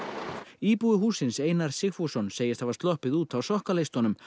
íbúi hússins Einar Sigfússon segist hafa sloppið út á sokkunum